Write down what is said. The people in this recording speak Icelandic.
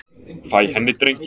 Fæ henni drenginn.